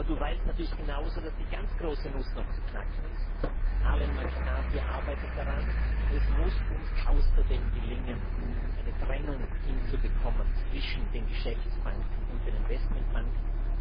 Aber Du weißt natürlich genauso, dass die ganz große Nuss noch zu knacken ist Arlene McCarthy arbeitet daran Es muss uns außerdem gelingen, eine Trennung hinzubekommen zwischen den Geschäftsbanken und den Investmentbanken.